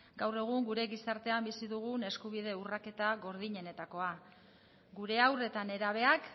gaur egun gure gizartean bizi dugun eskubide urraketa gordinenetakoa gure haur eta nerabeak